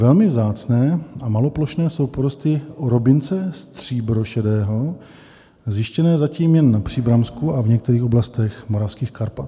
Velmi vzácné a maloplošné jsou porosty orobince stříbrošedého zjištěné zatím jen na Příbramsku a v některých oblastech moravských Karpat.